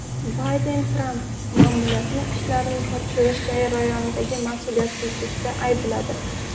Bayden Tramp ma’muriyatini ishlarni topshirish jarayonidagi mas’uliyatsizlikda aybladi.